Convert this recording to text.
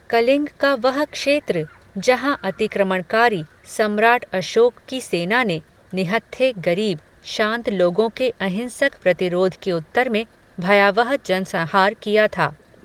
कलिंग का वह क्षेत्र, जहां अतिक्रमणकारी, सम्राट् अशोक की सेना ने, निहत्थे गरीब, शांत लोगों के अहिंसक प्रतिरोध के उत्तर में, भयावह जनसंहार किया था